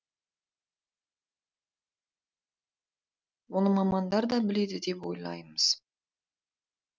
оны мамандар да біледі деп ойлаймыз